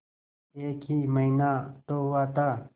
एक ही महीना तो हुआ था